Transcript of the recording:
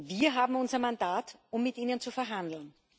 Wir haben unser Mandat, um mit ihnen zu verhandeln.